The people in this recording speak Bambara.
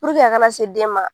a ka na se den ma